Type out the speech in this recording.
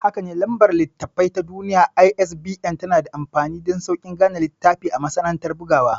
Hakane, Lambar Littattafai ta Duniya (ISBN) tanada amfani dansaukin gane littafi a masana'antar bugawa.